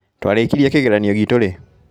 Twarĩkirie kĩgeranio gitũ rĩ?